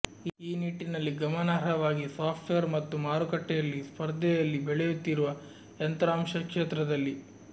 ಈ ನಿಟ್ಟಿನಲ್ಲಿ ಗಮನಾರ್ಹವಾಗಿ ಸಾಫ್ಟ್ವೇರ್ ಮತ್ತು ಮಾರುಕಟ್ಟೆಯಲ್ಲಿ ಸ್ಪರ್ಧೆಯಲ್ಲಿ ಬೆಳೆಯುತ್ತಿರುವ ಯಂತ್ರಾಂಶ ಕ್ಷೇತ್ರದಲ್ಲಿ